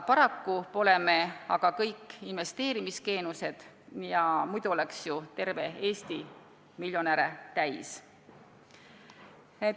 Paraku pole me kõik investeerimisgeeniused, muidu oleks ju terve Eesti miljonäre täis.